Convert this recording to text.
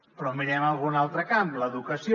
però mirem algun altre camp l’educació